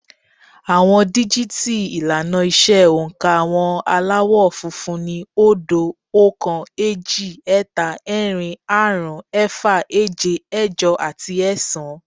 Àwọn díjìtì ìlànà ìṣe oǹkà àwọn Aláwọ̀ funfun ni, óódo, oókan, éjì, ẹ́ta, ẹ́rin, áàrún, ẹ́fà, éje, ẹ́jọ àti ẹ́ẹ̀sán